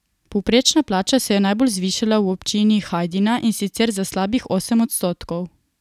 Povprečna plača se je najbolj zvišala v občini Hajdina, in sicer za slabih osem odstotkov.